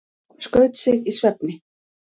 Skaut sig í svefni